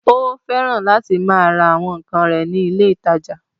Ó fẹ́ràn láti máa ra àwọn ǹkan rẹ̀ ní ilé ìtajà